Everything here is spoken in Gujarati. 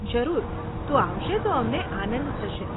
જરૂર, તું આવશે તો અમને આનંદ થશે.